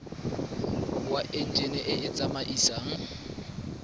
wa enjine e e tsamaisang